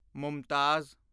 Mumtaz